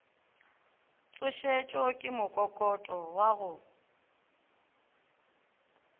tsošitšwe ke mokokoto wa go